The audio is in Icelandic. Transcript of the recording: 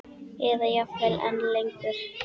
Eða jafnvel enn lengur.